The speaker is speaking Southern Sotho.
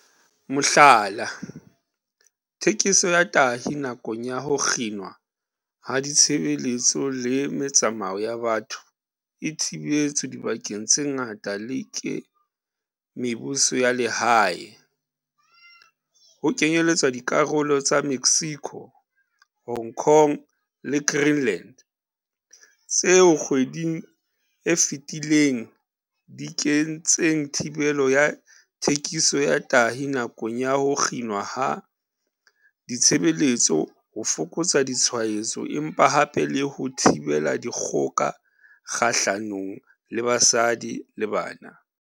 Mohlala, thekiso ya tahi nakong ya ho kginwa ha ditshebeletso le metsamao ya batho e thibetswe dibakeng tse ngata le ke mebuso ya lehae, ho kenyeletswa dikarolo tsa Mexico, Hong Kong le Green-land, tseo kgweding e fetileng di kentseng thibelo ya thekiso ya tahi nakong ya ho kginwa ha ditshebeletso ho fokotsa ditshwaetso empa hape le 'ho thibela dikgoka kgahlanong le basadi le bana.'